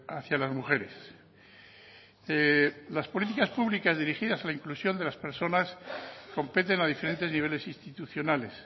hacia las mujeres las políticas públicas dirigidas a la inclusión de las personas competen a diferentes niveles institucionales